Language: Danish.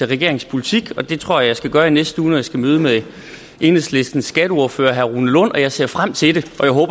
regeringens politik og det tror jeg skal gøre i næste uge når jeg skal mødes med enhedslistens skatteordfører herre rune lund og jeg ser frem til det